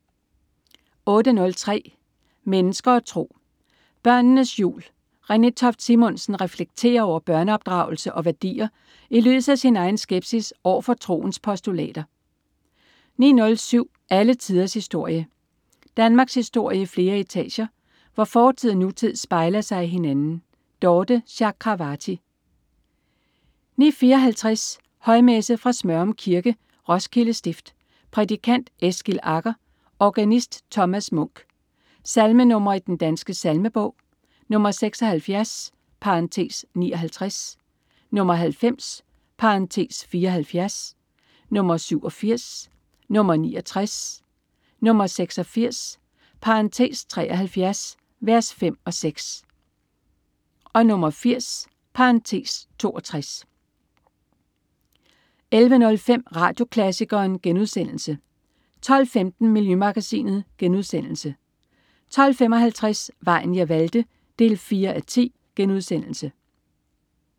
08.03 Mennesker og tro. Børnenes jul. Renée Toft Simonsen reflekterer over børneopdragelse og værdier i lyset af sin egen skepsis over for troens postulater 09.07 Alle tiders historie. Danmarkshistorie i flere etager, hvor fortid og nutid spejler sig i hinanden. Dorthe Chakravarty 09.54 Højmesse. Fra Smørum Kirke, Roskilde Stift. Prædikant: Eskil Agger. Organist: Thomas Munch. Salmenr. i Den Danske Salmebog: 76 (59), 90 (74), 87, 69, 86 (73) v. 5 og 6, 80 (62) 11.05 Radioklassikeren* 12.15 Miljømagasinet* 12.55 Vejen jeg valgte 4:10*